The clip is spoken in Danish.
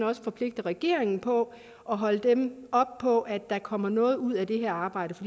også forpligter regeringen på og holder dem op på at der kommer noget ud af det her arbejde